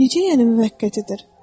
Necə yəni müvəqqətidir?